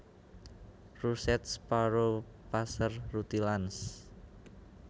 Russet Sparrow Passer rutilans